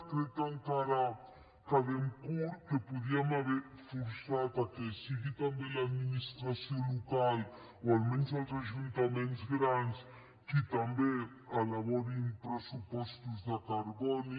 crec que encara quedem curts que podríem haver forçat a que sigui també l’administració local o almenys els ajuntaments grans qui també elaborin pressupostos de carboni